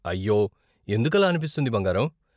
అయ్యో, ఎందుకలా అనిపిస్తుంది బంగారం?